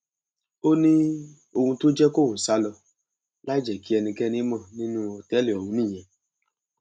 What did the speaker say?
ó ní ohun tó jẹ kóun sá lọ láì jẹ kí ẹnikẹni mọ nínú òtẹẹlì ọhún nìyẹn